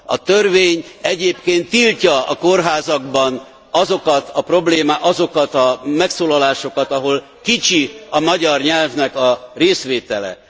A törvény egyébként tiltja a kórházakban azokat a megszólalásokat, ahol kicsi a magyar nyelvnek a részvétele.